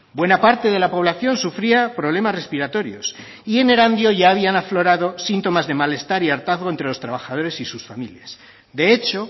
buena parte de la población sufría problemas respiratorios y en erandio ya habían aflorado síntomas de malestar y hartazgo entre los trabajadores y sus familias de hecho